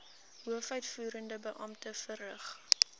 hoofuitvoerende beampte verrig